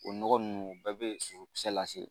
O nɔgɔ ninnu o bɛɛ bɛ sosokisɛ lase